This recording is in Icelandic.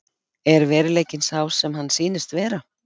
Er veruleikinn sá sem hann sýnist vera?